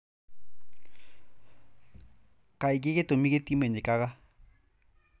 Kaingĩ gĩtũmi gĩtimenyekaga.